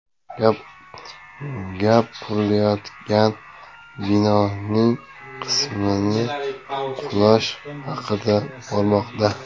Gap qurilayotgan binoning qisman qulashi haqida bormoqda.